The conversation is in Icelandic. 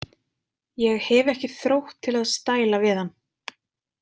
Ég hef ekki þrótt til að stæla við hann.